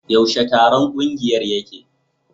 Yaushe taron kungiyar yake?